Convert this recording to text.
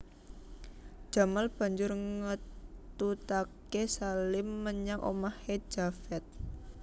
Jamal banjur ngetutaké Salim menyang omahé Javed